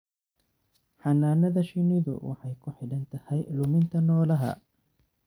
Xannaanada shinnidu waxay ku xidhan tahay luminta noolaha.